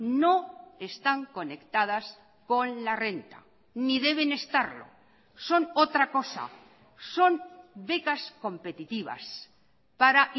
no están conectadas con la renta ni deben estarlo son otra cosa son becas competitivas para